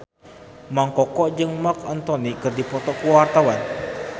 Mang Koko jeung Marc Anthony keur dipoto ku wartawan